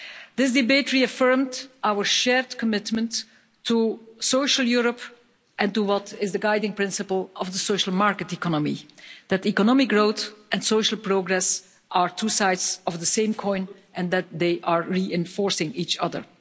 This debate reaffirmed our shared commitment to social Europe and to what is the guiding principle of the social market economy that economic growth and social progress are two sides of the same coin and that they are reinforcing each other.